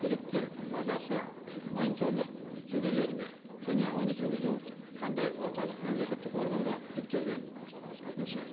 керекті базасы мониторинг жүргізіледі ме және оны жүргізу қандай орталық мемлекеттік органға жүктелген екінші